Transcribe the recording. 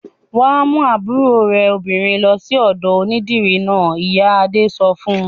"Wà á mú àbúrò obìnrin rẹ lọ sí ọ̀dọ̀ onídìrí náà!" Ìyá Adé sọ fún un.